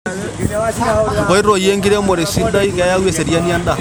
Nkoitoi enkiremore sidai keyau eseriani endaa.